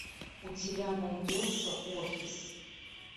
у тебя найдется офис